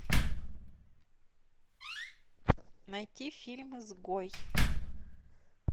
найти фильм изгой